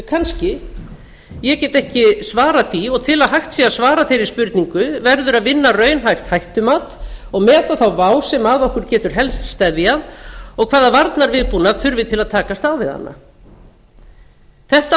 kannski ég get ekki svarað því og til að hægt sé að svara þeirri spurningu verður að vinna raunhæft hættumat og meta þá vá sem að okkur getur helst steðjað og hvaða varnarviðbúnað þurfi til að takast á við hana þetta